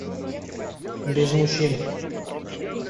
без мужчин